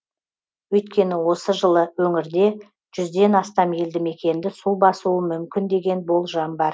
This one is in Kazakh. өйткені осы жылы өңірде жүзден астам елді мекенді су басуы мүмкін деген болжам бар